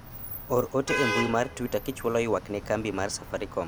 or ote e mbui mar twita kichwalo ywak ne kambi mar safarikom